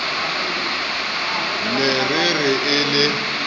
ne e re e le